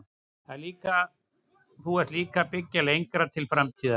Þú ert líka að byggja lengra til framtíðar?